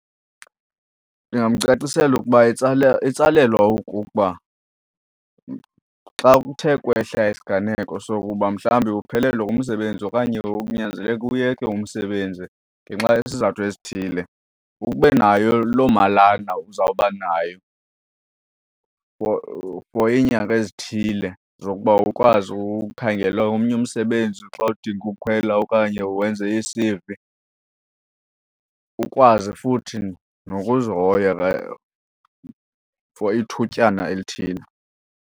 Ndingamcacisela ukuba itsala itsalelwa okokuba xa kuthe kwehla isiganeko sokuba mhlawumbi uphelelwe ngumsebenzi okanye unyanzeleke uyeke umsebenzi ngenxa yezizathu ezithile, ube nayo loo malana uzawuba nayo for, for iinyanga ezithile zokuba ukwazi ukhangela omnye umsebenzi xa udinga ukhwela okanye wenze ii-C_V. Ukwazi futhi nokuzihoya for ithutyana elithile.